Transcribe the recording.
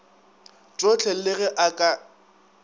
tšohle le ge a ka